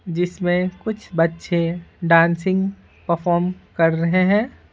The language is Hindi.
जिसमें कुछ बच्चे डांसिंग परफॉर्म कर रहे है।